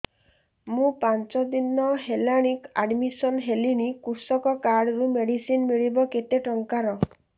ମୁ ପାଞ୍ଚ ଦିନ ହେଲାଣି ଆଡ୍ମିଶନ ହେଲିଣି କୃଷକ କାର୍ଡ ରୁ ମେଡିସିନ ମିଳିବ କେତେ ଟଙ୍କାର